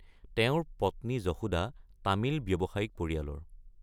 তেওঁৰ পত্নী যশোদা তামিল ব্যৱসায়িক পৰিয়ালৰ।